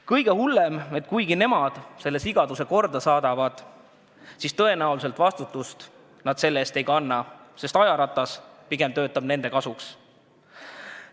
Kõige hullem on see, et kuigi nemad selle sigaduse korda saadavad, siis vastutust nad selle eest tõenäoliselt ei kanna, sest ajaratas töötab pigem nende kasuks.